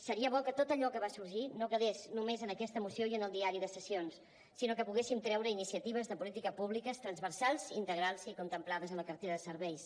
seria bo que tot allò que va sorgir no quedés només en aquesta moció i en el diari de sessions sinó que poguéssim treure iniciatives de polítiques públiques transversals integrals i contemplades a la cartera de serveis